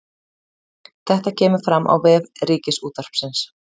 Þetta kemur fram á vef Ríkisútvarpsins